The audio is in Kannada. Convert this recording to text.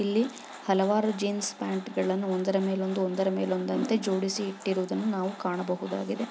ಇಲ್ಲಿ ಹಲವಾರು ಜೀನ್ಸ್ ಪ್ಯಾಂಟ್ಗಳನ್ನು ಒಂದರಮೇಲೊಂದು ಒಂದರಮೇಲೊಂದಂತೆ ಜೋಡಿಸಿ ಇಟ್ಟಿರುವುದನ್ನು ನಾವು ಕಾಣಬಹುದಾಗಿದೆ.